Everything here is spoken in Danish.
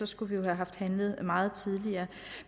skulle vi have haft handlet meget tidligere